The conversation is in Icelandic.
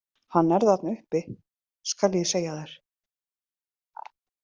Hann er þarna uppi, skal ég segja þér.